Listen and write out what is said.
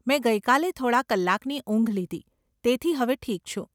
મેં ગઇ કાલે થોડાં કલાકની ઊંઘ લીધી, તેથી હવે ઠીક છું.